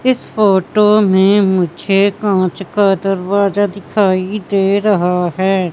इस फोटो में मुझे कांच का दरवाजा दिखाई दे रहा हैं।